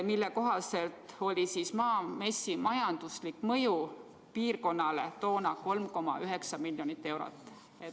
Selle kohaselt oli Maamessi majanduslik mõju piirkonnale toona 3,9 miljonit eurot.